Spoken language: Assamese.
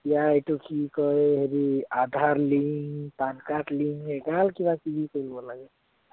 এতিয়া এইটো কি কয় হেৰি aadhar link pan card link এগাল কিবা-কিবি কৰিব লাগে